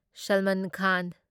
Salman Khan